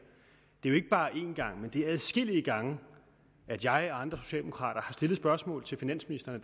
det er jo ikke bare en gang men adskillige gange at jeg og andre socialdemokrater har stillet dette spørgsmål til finansministeren